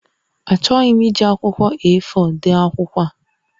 Achọghị m iji akwụkwọ A4 dee akwụkwọ a